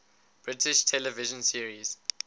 british television series